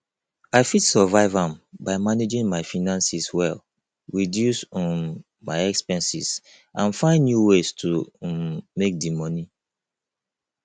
i fit survive am by managing my finances well reduce um my expenses and find new ways to um make di money